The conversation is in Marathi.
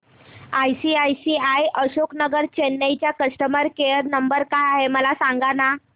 आयसीआयसीआय अशोक नगर चेन्नई चा कस्टमर केयर नंबर काय आहे मला सांगाना